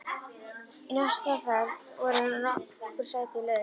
Í næstu ferð voru nokkur sæti laus.